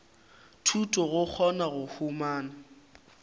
thuto go kgona go humana